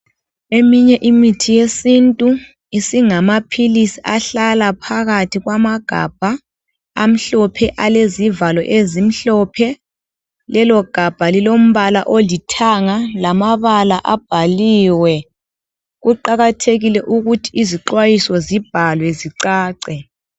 Eminye imithi yesintu isingamaphilisi ahlala phakathi kwamagabha amhlophe alezivalo ezimhlophe lelogabha lilombala olithanga lamabala abhaliwe , kuqakathekile ukuthi izixhwayiso zibhalwe zicace.